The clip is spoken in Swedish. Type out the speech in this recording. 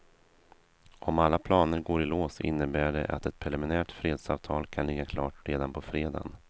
Om alla planer går i lås innebär det att ett preliminärt fredsavtal kan ligga klart redan på fredagen.